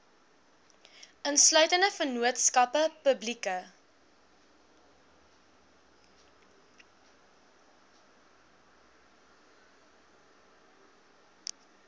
insluitende vennootskappe publieke